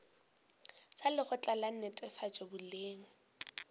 sa lekgotla la netefatšo boleng